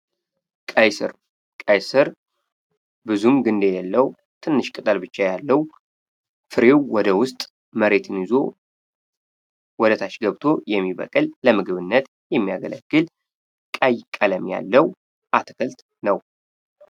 ቀይስር ቀይ ስር ብዙም ግንድ የሌለው ትንሽ ቅጠል ብቻ ያለው ሲሆን ወደ ውስጥ መሬት ይዞ ታ ገብቶ የሚበቅል ለምግብነት የሚያገለግል ቀይ ቀለም ያለው አትክልት ነው።